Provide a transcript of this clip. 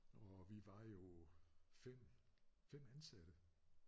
Og vi var jo 5 5 ansatte